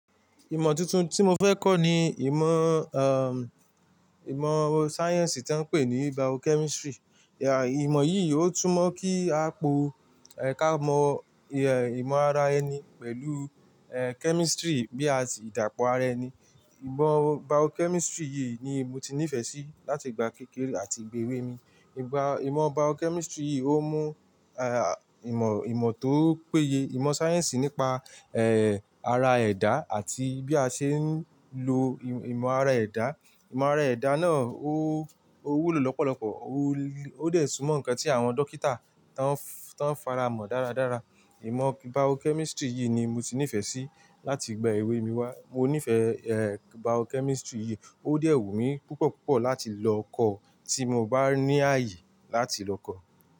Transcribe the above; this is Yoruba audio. Ìmọ tuntun tí mo fẹ́ kọ ni ìmọ, ìmọ sáyẹ̀nsì tí wọ́n ń pè ní Biochemistry. Ìmọ yìí ó túmọ̀ kí a pọ kamọ imo ara ẹni pẹ̀lú, eh, chemistry bí i àìdàpọ̀ ara ẹni. Ìmọ Biochemistry yìí ni mo ti nífẹ̀ẹ́ sí láti ìgbà kékeré àti ìgbà èwe mi. Ìmọ Biochemistry yìí ó mú, ìmọ, ìmọ tó péye, ìmọ̀ sáyẹ́sì nípa, ara ẹ̀dá àti bí a ṣe ń lo ìmọ ara ẹ̀dá. Ìmọ ara ẹ̀dá náà ó wúlò lọ́pọ̀lọpọ̀, ó dè sún mọ nǹkan tí àwọn dókítà tí wọ́n fara mọ dáradára. Ìmọ Biochemistry yìí ni mo ti nífẹ̀ẹ́ sí láti ìgbà èwe mi wá. Mo nífẹ̀ẹ́, eh, Biochemistry yìí, ó dẹ́wù mi púpọ̀ púpọ̀ láti lọ kọ, tí mo bá ní àyè láti lọ kọ.